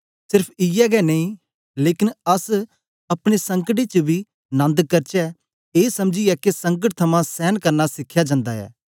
serif इयै गै नेई लेकन अस अपने संकटें च बी नन्द करचै ए समझीयै के संकट थमां सेंन करना सिखेया जांदा ए